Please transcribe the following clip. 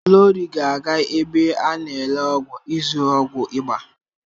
Glory ga-aga ebe a n'ele ọgwụ ịzụrụ ọgwụ ịba.